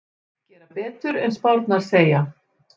Gera betur en spárnar segja